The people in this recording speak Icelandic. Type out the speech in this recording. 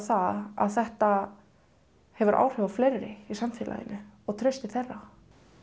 að þetta hefur áhrif á fleiri í samfélaginu og traust til þeirra